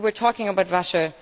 You were talking about Russia.